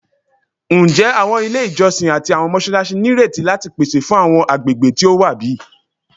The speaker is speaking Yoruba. Njẹ awọn ile ijọsin ati awọn mọṣalaṣi nireti lati pese fun awọn agbegbe ti o wa bi?